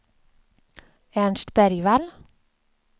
Ernst Bergvall